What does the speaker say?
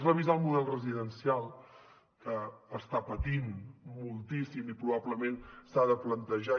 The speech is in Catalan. revisar el model residencial que està patint moltíssim i probablement s’ha de plantejar